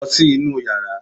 Lọ sí inú yàrá!